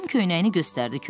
Tom köynəyini göstərdi.